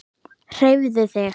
Hreyfðu þig.